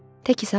Təki sağal.